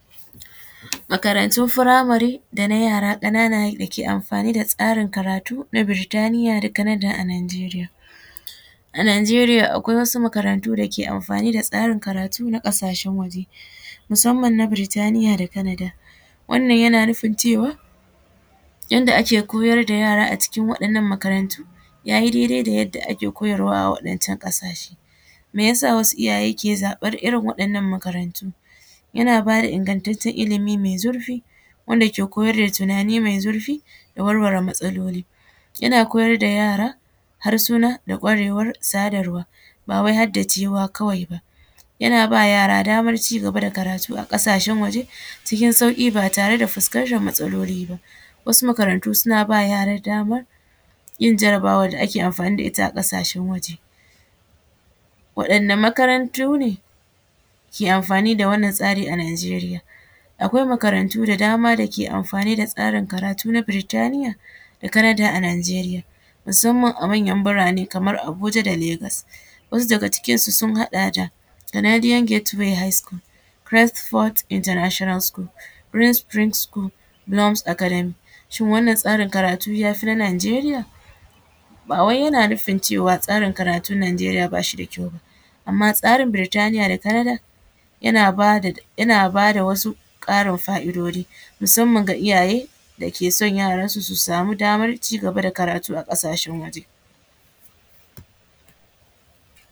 Makarantun furamari dana yara kanana dake amfani da tsarin karatu na Burtania da Canadar a Nijeriya, a Nijeriya akwai wasu makarantu da suke amfani da tsarin karatu na kasashen waje musamman na Burtania da Canadar, wannan yana nufin cewa yadda ake koyar da yara a cikin waɗannan makarantu yayi daidai da yadda ake koyarwa a waɗancan kasashe, me yasa wasu iyaye ke zaɓan irin waɗannan makarantu yana bada ingantacen ilimi mai zurfi wanda ke koyar da tunani da warware matsaloli yana koyar da yara harsuna da kwarewar sadarwa ba wai har da ciwuwa kawai ba, yana ba yara damar ci gaba da karatu a kasashen waje cikin sauki ba tare da fuskantar matsaloli ba, wasu makarantu suna yara damar yin jarabawan da ake amfani da ita a kasashen waje, waɗanda makarantu ne ke amfani da wannan tsari a Nijeriya, akwai makarantu da dama dake amfani da tsarin karatu na Burtania da Canadar a Nijeriya musamman a manyan burane kamar Abuja da Legos wasu daga cikin su sun haɗa da Canadiate Gata High school, Graceforth international school, Prince sprince school, Longs Academy, shin wannan tsarin karatu yafi na Nijeriya ba wai yana nufin cewa tsarin karatun Nijeriya bashi da kyau ba, amma tsarin Burtania da Canadar yana bada wasu Karin fa’idoji musamman ga iyaye dake son yaronsu su samu damar cigaba da karatu a kasashen waje.